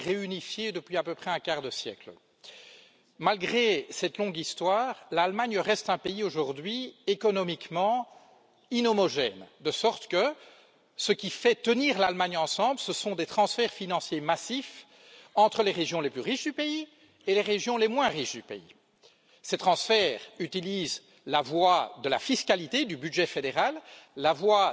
L'Allemagne est unifiée depuis à peu près 150 ans et réunifiée depuis à peu près un quart de siècle. Malgré cette longue histoire, l'Allemagne reste un pays aujourd'hui économiquement inhomogène, de sorte que ce qui fait tenir l'Allemagne ensemble, ce sont des transferts financiers massifs entre les régions les plus riches du pays et les régions les moins riches du pays. Ces transferts utilisent la voie de la fiscalité, du budget fédéral, la voie